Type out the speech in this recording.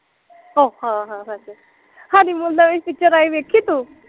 ਉਹ ਹਾਂ ਹਾਂ ਸੱਚ ਹਨੀਮੂਨ ਨਵੀਂ ਪਿਚਰ ਆਈ ਦੇਖੀ ਤੂੰ